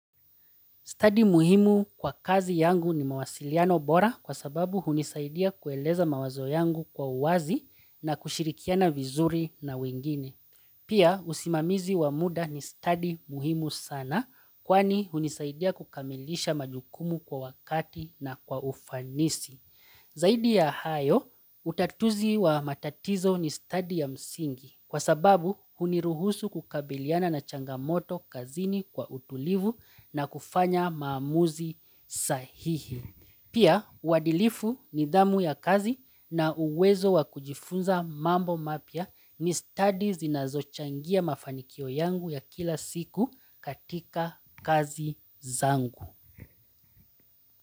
Study muhimu kwa kazi yangu ni mawasiliano bora kwa sababu hunisaidia kueleza mawazo yangu kwa uwazi na kushirikiana vizuri na wengine. Pia usimamizi wa muda ni study muhimu sana kwani hunisaidia kukamilisha majukumu kwa wakati na kwa ufanisi. Zaidi ya hayo, utatuzi wa matatizo ni study ya msingi kwa sababu huniruhusu kukabiliana na changamoto kazini kwa utulivu na kufanya maamuzi sahihi. Pia, wadilifu ni damu ya kazi na uwezo wa kujifunza mambo mapya ni study zinazochangia mafanikio yangu ya kila siku katika kazi zangu.